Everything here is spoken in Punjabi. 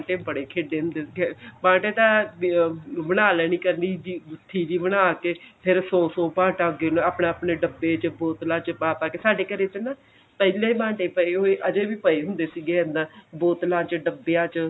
ਬੰਟੇ ਬੜੇ ਖੇਡਦੇ ਹੁੰਦੇ ਸੀ ਬਾਂਟੇ ਤਾਂ ਬਣਾ ਲੇਨੀ ਗੁਥੀ ਜੀ ਬਣਾਕੇ ਫੇਰ ਸੋ ਸੋ ਬਾੰਟਾ ਆਪਣੇ ਆਪਣੇ ਡੱਬੇ ਚ ਬੋਤਲਾਂ ਚ ਪਾ ਪਾ ਕੇ ਸਾਡੇ ਘਰੇ ਨਾ ਪਹਿਲਾਂ ਬਾਂਟੇ ਪਏ ਹੋਏ ਅਜੇ ਵੀ ਪਏ ਹੋਏਹੁੰਦੇ ਸੀ ਅੰਦਰ ਬੋਤਲਾਂ ਚ ਡੱਬਿਆ ਚ